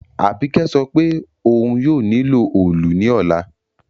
Àbíkẹ́ sopé oun yio nílò òòlù ní òla